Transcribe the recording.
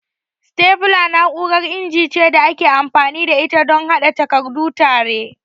Stapler na'urar inji ce da ake amfani da ita don haɗe takardu tare.